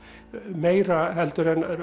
meira heldur en